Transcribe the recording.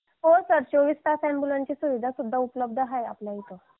हो सर चोवीस तास ॲम्बुलन्स ची सुविधा पण उपलब्ध आहे आपल्या इथे